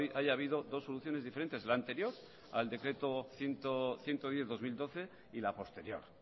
haya ha habido dos soluciones diferentes la anterior al decreto ciento diez barra dos mil doce y la posterior